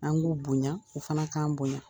An' k'u boɲa u fana k'an boɲa.